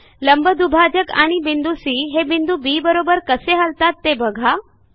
लंबदुभाजक आणि बिंदू सी हे बिंदू बी बरोबर कसे हलतात ते बघा